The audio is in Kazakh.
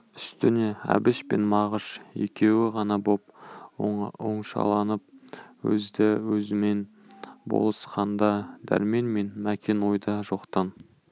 үстіне әбіш пен мағыш екеуі ғана боп оңашаланып өзді-өзімен болысқанда дәрмен мен мәкен ойда жоқтан